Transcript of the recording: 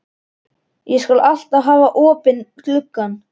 Ég skal alltaf hafa opinn gluggann.